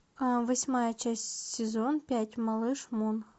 восьмая часть сезон пять малыш мун